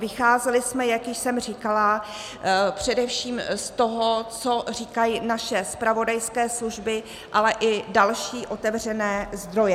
Vycházeli jsme, jak už jsem říkala, především z toho, co říkají naše zpravodajské služby, ale i další otevřené zdroje.